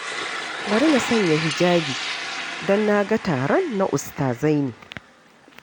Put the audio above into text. Bari na sanya hijabi, don na ga taron na ustazai ne